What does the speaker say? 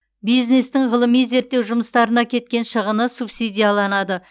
бизнестің ғылыми зерттеу жұмыстарына кеткен шығыны субсидияланады